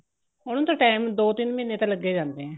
ਉਹਨੂੰ ਤਾਂ time ਦੋ ਤਿੰਨ ਮਹੀਨੇ ਤਾਂ ਲੱਗ ਹੀ ਜਾਂਦੇ ਹੈ